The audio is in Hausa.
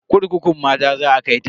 Kurkukun mata za a kai ta.